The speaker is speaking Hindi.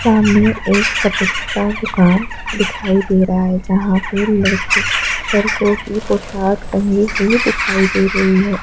सामने एक कपड़े का दुकान दिखाई दे रहा है जहाँ पे लड़की लड़को की पोशाक टंगी हुई दिखाई दे रही है।